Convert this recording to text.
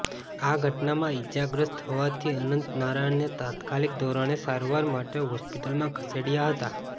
આ ઘટનામાં ઈજાગ્રસ્ત થવાથી અનંત નારાયણને તાત્કાલિક ધોરણે સારવાર માટે હોસ્પિટલમાં ખસેડાયા હતા